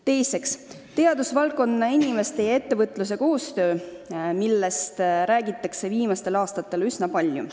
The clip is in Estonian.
Tähtis on teadusvaldkonna inimeste ja ettevõtjate koostöö, millest räägitakse viimastel aastatel üsna palju.